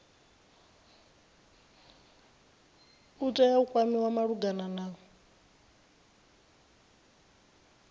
tea u kwamiwa malugana na